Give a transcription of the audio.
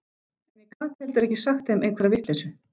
En ég gat heldur ekki sagt þeim einhverja vitleysu.